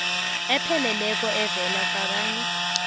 epheleleko evela kabanye